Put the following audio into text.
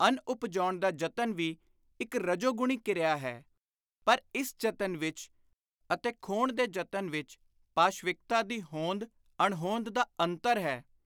ਅੰਨ ਉਪਜਾਉਣ ਦਾ ਯਤਨ ਵੀ ਇਕ ਰਜੋ-ਗੁਣੀ ਕਿਰਿਆ ਹੈ ਪਰ ਇਸ ਜਤਨ ਵਿਚ ਅਤੇ ਖੋਹਣ ਦੇ ਯਤਨ ਵਿਚ ਪਾਸ਼ਵਿਕਤਾ ਦੀ ਹੋਂਦ-ਅਣਹੋਂਦ ਦਾ ਅੰਤਰ ਹੈ।